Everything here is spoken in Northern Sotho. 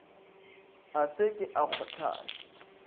a se ke a gohlana